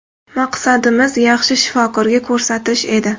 Maqsadimiz yaxshi shifokorga ko‘rsatish edi.